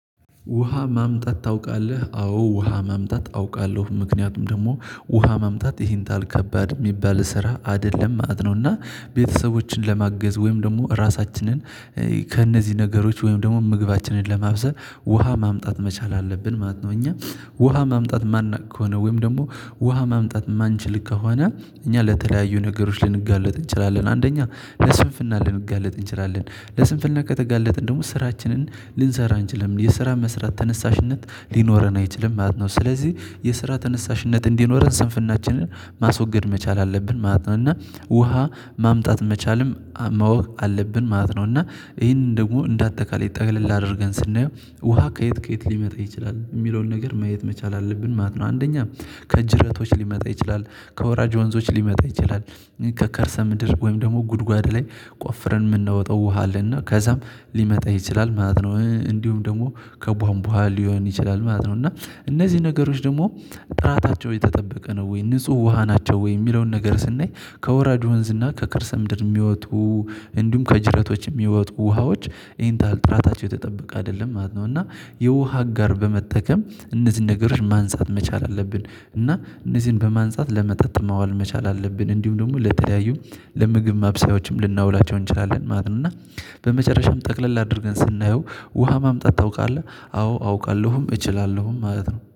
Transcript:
ውሃ ማምጣት ታውቃለህ አዎ ውሃ ማምጣት አውቃለሁ ምክንያቱም ደግሞ ውሃ ማምጣት ይሄን ታል ከባድ የሚባል ስራ አይደለም ማለት ነው። እና ቤተሰቦችን ለማገዝ ወይም ደግሞ ራሳችንን ከእነዚህ ነገሮች ወይም ደግሞ ምግባችንን ለማብሰል ውሃ ማምጣት መቻል አለብን ማለት ነው። እኛ ውሃ ማምጣት ማናውቅ ከሆነ ወይም ደግሞ ውሃ ማምጣት ማንችል ከሆነ እኛ ለተለያዩ ነገሮች ልንጋለጥ እንችላለን። አንደኛ ለስንፍና ልንጋለጥ እንችላለን ለስንፍና ከተጋለጥን ደግሞ ስራችንን ልንሰራ አንችልም የስራ መስራት ተነሳሽነት ሊኖረን አንችልም ማለት ነው። ስለዚህ የስራ ተነሳሽነት እንዲኖረን ስንፍናችንን ማስወገድ መቻል አለብን ማለት ነው። እና ውሃ ማምጣት መቻልም ማወቅ አለብን ማለት ነው። እና ይሄንን ደግሞ እንደ አጠቃላይ ጠቅለል አድርገን ስናየው ውሃ ከየት ከየት ሊመጣ ይችላል የሚለውን ነገር ማየት መቻል አለብን ማለት ነው። አንደኛ ከጅረቶች ሊመጣ ይችላል። ከወራጅ ወንዞች ሊመጣ ይችላል። ከከርሰ ምድር ወይም ደግሞ ጉድጓድ ላይ ቆፍረን የምናወጣው ውሃ አለና ከዛም ሊመጣ ይችላል ማለት ነው። እንዲሁም ደግሞ ከቧንቡሀ ሊሆን ይችላል ማለት ነው። እና እነዚህ ነገሮች ደግሞ ጥራታቸው የተጠበቀ ነው ወይ ንጹህ ውሃ ናቸው ወይ የሚለውን ነገር ስናይ ከወራጅ ወንዝ እና ከከርሰ ምድር የሚወጡ እንዲሁም ከጅረቶች የሚወጡ ውሃዎች ይህን ያክል ጥራታቸው የተጠበቀ አይደለም ማለት ነው። እና የውሃ አጋር በመጠቀም እነዚህን ነገሮች ማንፃት መቻል አለብን። እና እነዚህን በማንፃት ለመጠጥ ማዋል መቻል አለብን እንዲሁም ደግሞ ለተለያዩ ለምግብ ማብሰያዎችም ልናውላቸው እንችላለን ማለት ነው። እና በመጨረሻም ጠቅለል አድርገን ስናየው ውሃ ማምጣት ታውቃለህ? አዎ አውቃለሁም እችላለሁም ማለት ነው